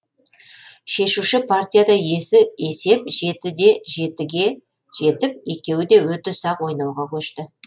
шешуші партияда есеп жетіде жетіге жетіп екеуі де өте сақ ойнауға көшті